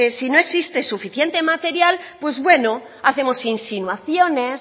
si no existe suficiente material pues bueno hacemos insinuaciones